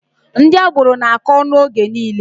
Ndị agboro na-akọ ọnụ oge niile.